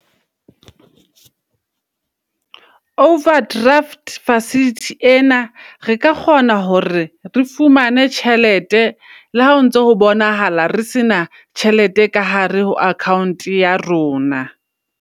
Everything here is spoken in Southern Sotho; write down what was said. Overdraft facility ena, re ka kgona hore re fumane tjhelete. Le ha o ntso ho bonahala re se na tjhelete ka hare ho account ya rona.